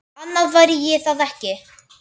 Annað væri það ekki.